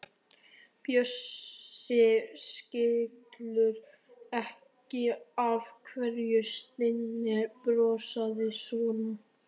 Bjössi skilur ekki af hverju Steini brosir svona.